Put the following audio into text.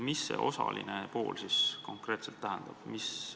Mis see "osaline" konkreetselt tähendab?